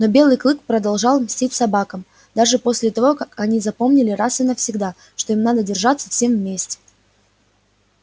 но белый клык продолжал мстить собакам даже после того как они запомнили раз и навсегда что им надо держаться всем вместе